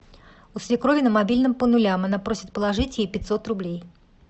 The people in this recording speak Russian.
у свекрови на мобильном по нулям она просит положить ей пятьсот рублей